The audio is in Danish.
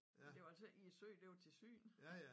Men det var altså ikke i søen det var til syn